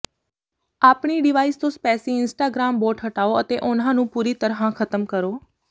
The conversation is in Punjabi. ਆਪਣੀ ਡਿਵਾਈਸ ਤੋਂ ਸਪੈਮੀ ਇੰਸਟਾਗ੍ਰਾਮ ਬੋਟ ਹਟਾਓ ਅਤੇ ਉਨ੍ਹਾਂ ਨੂੰ ਪੂਰੀ ਤਰ੍ਹਾਂ ਖਤਮ ਕਰੋ